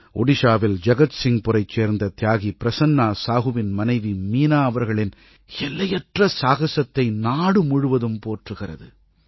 ஒடிஷாவில் ஜகத்சிங்புரைச் சேர்ந்த தியாகி பிரசன்னா சாஹூவின் மனைவி மீனா அவர்களின் எல்லையற்ற சாகசத்தை நாடுமுழுவதும் போற்றுகிறது